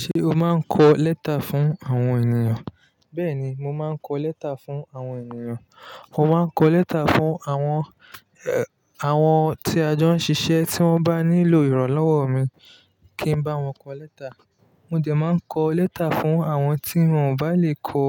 Ṣé o máa ń kọ lẹ́tà fún àwọn ènìyàn? Bẹ́ẹ̀ni, mo máa ń kọ lẹ́tà fún àwọn ènìyàn. Mo máa ń kọ lẹ́tà fún àwọn, àwọn tí a jọ ń ṣiṣẹ́ tí wọ́n bá nílò ìrànlọ́wọ́ mi kí ń bá wọn kọ lẹ́tà. Mo de máa ń kọ lẹ́tà fún àwọn tí wọn ò bá lè kọ